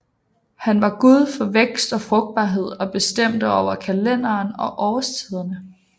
Han var gud for vækst og frugtbarhed og bestemte over kalenderen og årstiderne